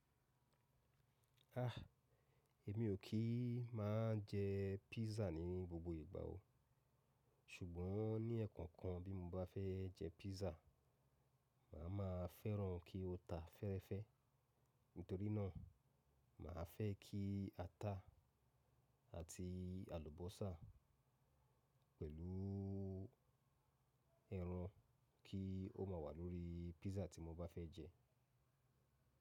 Ah, èmi ò kí má jẹ pízzà ní gbogbo ìgbà o. Ṣùgbọ́n ní ẹ̀kankan bí mo bá fẹ́ jẹ pízzà, màá ma fẹ́ràn kí ó ta fẹ́fẹ́. Nítorí náà, mà á fẹ́ kí ata àti àlùbọ́sà pẹ̀lú ẹran kí ó má wà lórí pízzà tí mo bá fẹ́ jẹ.